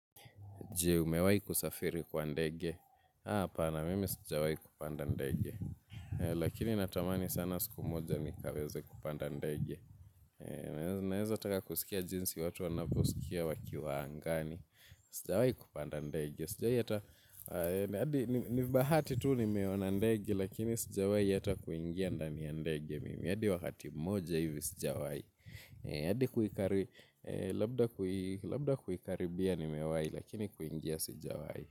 Je, umewai kusafiri kwa ndege. Hapana, mimi sijawai kupanda ndege. Lakini natamani sana siku moja nikaweze kupanda ndege. Naeza taka kusikia jinsi watu wanavyosikia wakiwa angani. Sijawai kupanda ndege. Sijawai hata, ni bahati tu nimeona ndege, lakini sijawai hata kuingia ndani ya ndege. Mimi hadi wakati mmoja hivi sijawai. Labda kuhikaribia nimewai lakini kuingia sijawai.